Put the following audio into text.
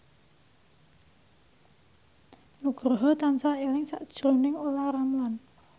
Nugroho tansah eling sakjroning Olla Ramlan